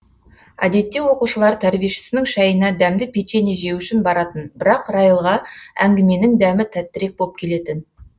әдетте оқушылар тәрбиешісінің шайына дәмді печенье жеу үшін баратын бірақ райлға әңгіменің дәмі тәттірек боп келетін